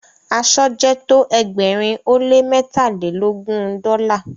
asọ jẹ tọ ẹgbẹrin o le mẹtalelogun dola